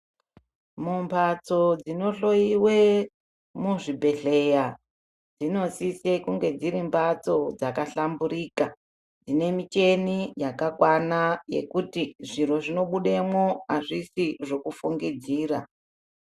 Mumbatso dzinohloyiwa muzvibhedhlera dzinosise kunge dziri mbatso dzakahlamburika dzine michini yakakwana yekuti zviro zvinobudemwo hazvisi zviro zvekufungidzira.